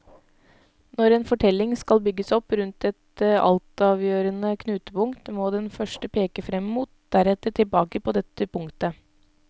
Når en fortelling skal bygges opp rundt et altavgjørende knutepunkt, må den først peke frem mot, deretter tilbake på dette punktet.